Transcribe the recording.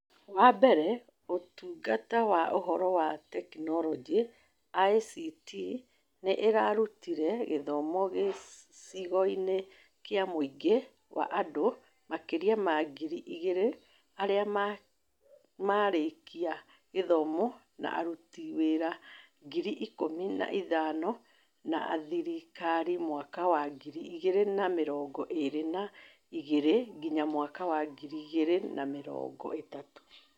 Wa mbere, Ũtungata wa Ũhoro na Teknoroji (ICT) nĩ ĩrarutire gĩthomo gĩcigoinĩ kĩa mũingĩ wa andũ makĩria ma ngiri igĩrĩ arĩa marĩkia gĩthomo na aruti wĩra ngiri ikũmi na ithano a thirikari mwaka wa ngiri igĩrĩ na mĩrongo ĩĩrĩ na igĩrĩ nginya mwaka wa ngiri igĩrĩ na mĩrongo ĩtatũ.